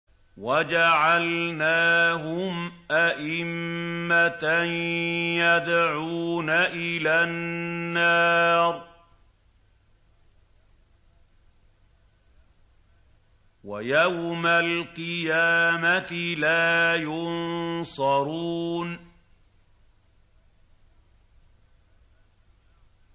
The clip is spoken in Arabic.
وَجَعَلْنَاهُمْ أَئِمَّةً يَدْعُونَ إِلَى النَّارِ ۖ وَيَوْمَ الْقِيَامَةِ لَا يُنصَرُونَ